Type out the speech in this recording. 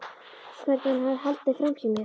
Hvernig hann hafði haldið framhjá mér.